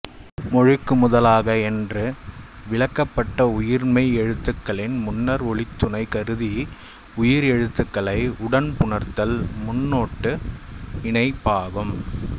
மொழிக்கு முதலாக என்ற விலக்கப்பட்ட உயிர்மெய் எழுத்துக்களின் முன்னர் ஒலித்துணை கருதி உயிர் எழுத்துக்களை உடன் புணர்த்தல் முன்னொட்டு இணைப்பாகும்